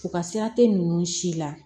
U ka sira te ninnu si la